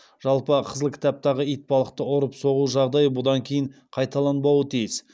жалпы қызыл кітаптағы итбалықты ұрып соғу жағдайы бұдан кейін қайталанбауы тиіс